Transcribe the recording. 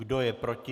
Kdo je proti?